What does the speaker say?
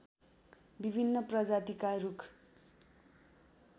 विभिन्न प्रजातिका रूख